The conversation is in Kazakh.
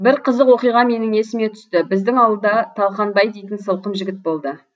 бір қызық оқиға менің есіме түсті біздің ауылда талқанбай дейтін сылқым жігіт болды